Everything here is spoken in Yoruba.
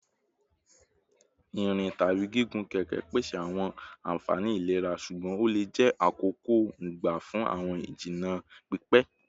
Nrin tabi gigun keke pese awọn anfani ilera ṣugbọn o le jẹ akoko-n gba fun awọn ijinna pipẹ